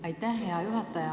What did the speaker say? Aitäh, hea juhataja!